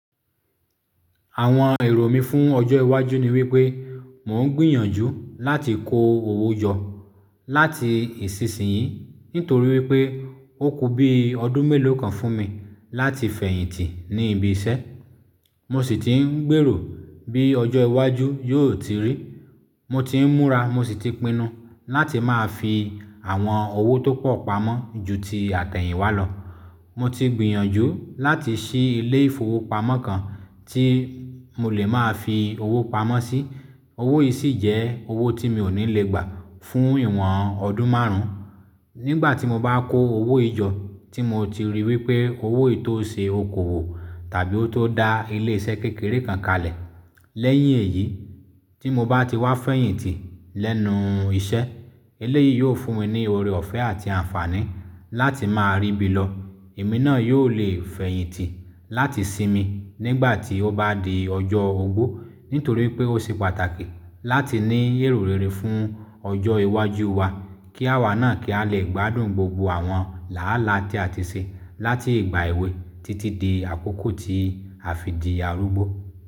Àwọn èrò mí fún ọjọ́ iwájú ni wípé mò ń gbìyànjú láti kó owó jọ láti ìsinsìnyí nítorí wípé ó kù bí ọdún mélòó kan fún mi láti fẹ̀yìntì ní ibi iṣẹ́. Mo sì ti ń gbèrò bí ọjọ́ iwájú yóò ti rí. Mo ti ń múra, mo sì ti pinnu láti máa fi àwọn owó tó pọ̀ pamọ́ ju ti àtẹ̀yìnwá lọ. Mo ti gbìyànjú láti ṣí ilé ìfowópamọ́ kan tí mo lè máa fi owó pamọ́ sí. Owó yìí sì jẹ́ owó tí mi ò ní lè gbà fún ìwọ̀n ọdún márùn-ún. Nígbà tí mo bá kó owó ìjọ tí mo ti rí wípé owó yìí tó ṣe okòwò tàbí ó tó da ilé iṣẹ́ kékeré kan kalẹ̀. Lẹ́yìn èyí tí mo bá ti wá fẹ̀yìntì lẹ́nu iṣẹ́, eléyìí yóò fún mi ní ọrẹ ọ̀fẹ́ àti àǹfààní láti máa ríbi lọ. Ẹ̀mí náà yóò lè fẹ̀yìntì láti sinmi nígbà tí ó bá di ọjọ́ ogbó nítorí pé ó ṣe pàtàkì láti ní èrò rere fún ọjọ́ iwájú wa kí àwa náà kí a lè gbádùn gbogbo àwọn làálàà tí àti ṣe láti ìgbà èwe títí di àkókò ti àfìdíàrúgbó.